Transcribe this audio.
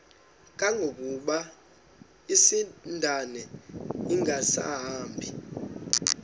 kangangokuba isindane ingasahambi